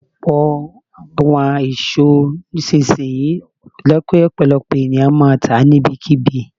Ọ̀pọ̀ àwọn èso nísinsìnyí jẹ́ kí ọ̀pọ̀lọpọ̀ ẹ̀yàn máa tà á ní ibi kí bi.